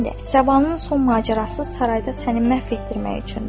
Səbanın son macərası sarayda səni məhv etdirmək üçündür.